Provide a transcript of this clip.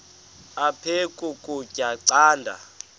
aphek ukutya canda